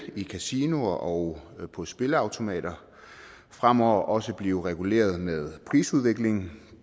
i kasinoer og på spilleautomater fremover også blive reguleret med prisudviklingen